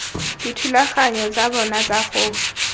dithulaganyo tsa bona tsa go